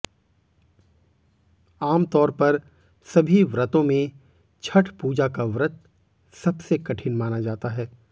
आमतौर पर सभी व्रतों में छठ पूजा का व्रत सबसे कठिन माना जाता है